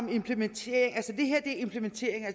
en implementering